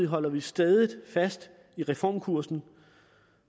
holder vi stædigt fast ved reformkursen